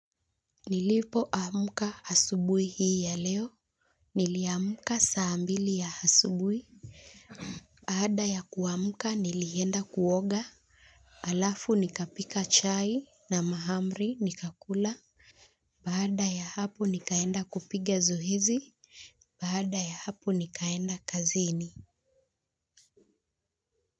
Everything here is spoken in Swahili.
Nilipo amuka asubuhi hii ya leo niliamka saa mbili ya asubuhi baada ya kuamuka nilienda kuoga alafu nikapika chai na mahamri nikakula baada ya hapo nikaenda kupiga zoezi baada ya hapo nikaenda kazini.